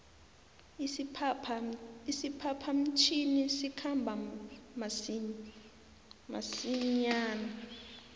isiphapha mtjhini sikhamba masinjana